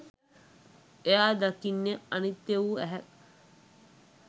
එයා දකින්නේ අනිත්‍ය වූ ඇහැක්